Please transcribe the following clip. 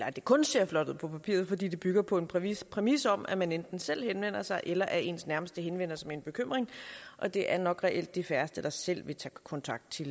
at det kun ser flot ud på papiret fordi det bygger på en præmis præmis om at man enten selv henvender sig eller at ens nærmeste henvender sig med en bekymring og det er nok reelt de færreste der selv vil tage kontakt til